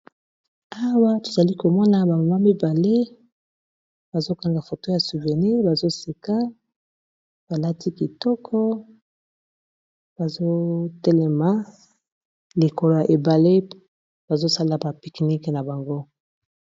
Awa tozali komona ba mama mibale bazokanga foto ya souvénir bazoseka balati kitoko bazotelema likolo ya ebale bazosala ba picnique na bango